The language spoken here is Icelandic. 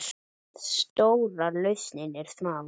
Stóra lausnin er smá!